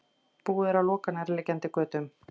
Búið er að loka nærliggjandi götum